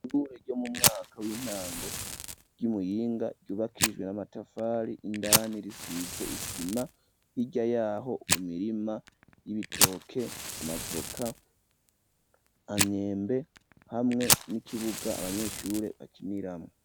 Ishure ryo mu mwaka w'intango, ry'imuyinga, ryubakijwe n'amatafari ,indani risize isima ,hirya yaho imirima y'ibitoke, amavoka, Amyembe, hamwe n'ikibuga abanyeshure bakiniramwo.